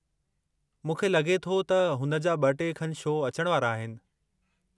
मूंखे लॻे थो त हुन जा ब॒-टे खनु शौ अचण वारा आहिनि।